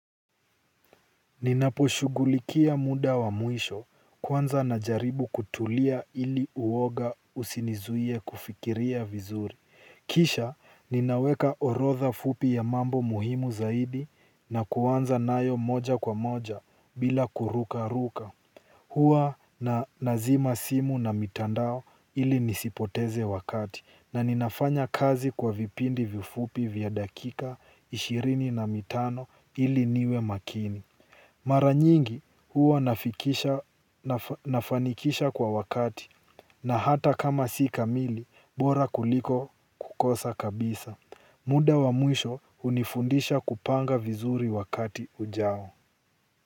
Ninaposhughulikia muda wa mwisho kwanza najaribu kutulia ili uoga usinizuie kufikiria vizuri. Kisha ninaweka orodha fupi ya mambo muhimu zaidi na kuanza nayo moja kwa moja bila kurukaruka. Huwa nazima simu na mitandao ili nisipoteze wakati na ninafanya kazi kwa vipindi vifupi vya dakika ishirini na mitano ili niwe makini. Mara nyingi huwa nafanikisha kwa wakati na hata kama si kamili bora kuliko kukosa kabisa. Muda wa mwisho hunifundisha kupanga vizuri wakati ujao.